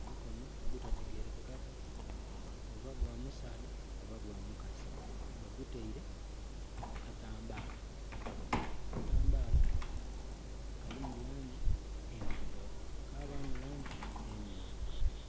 Omukono ogutategerekekaku oba gwa musaadha oba gwa mukazi bagutaile ku katambaala. Katambaala kalimu langi endhirugavu kabaamu langi emyufu,